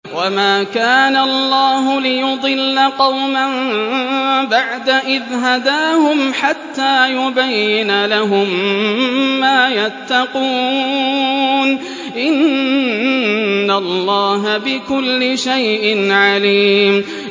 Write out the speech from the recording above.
وَمَا كَانَ اللَّهُ لِيُضِلَّ قَوْمًا بَعْدَ إِذْ هَدَاهُمْ حَتَّىٰ يُبَيِّنَ لَهُم مَّا يَتَّقُونَ ۚ إِنَّ اللَّهَ بِكُلِّ شَيْءٍ عَلِيمٌ